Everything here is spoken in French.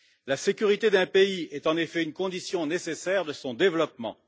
La sécurité d'un pays est en effet une condition nécessaire de son développement.